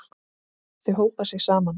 Þau hópa sig saman.